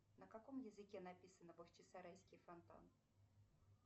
на каком языке написано бахчисарайский фонтан